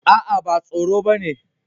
Aa, ba tsoro ba ne.